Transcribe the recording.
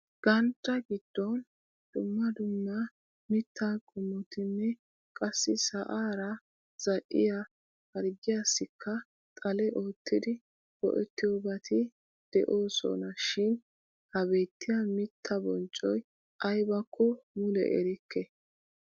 Ganddaa giddon dumma dumma mittaa qommotinne qassi sa'aara zaa'iya harggiyassikka xale oottidi go'ettiyobati de'oosonashin ha beettiya mittaa bonccoy aybakko mule erikke.